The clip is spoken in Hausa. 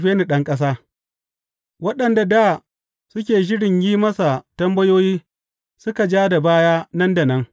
Waɗanda dā suke shirin yin masa tambayoyi suka ja da baya nan da nan.